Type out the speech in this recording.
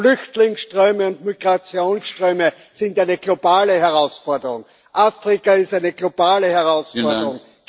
Flüchtlingsströme und Migrationsströme sind eine globale Herausforderung, Afrika ist eine globale Herausforderung.